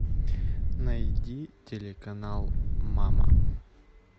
найди телеканал мама